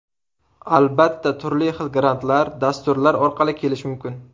Albatta, turli xil grantlar, dasturlar orqali kelish mumkin.